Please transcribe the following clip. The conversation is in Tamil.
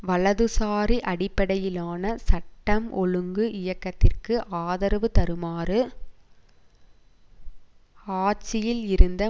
வலதுசாரி அடிப்படையிலான சட்டம் ஒழுங்கு இயக்கத்திற்கு ஆதரவு தருமாறு ஆட்சியில் இருந்த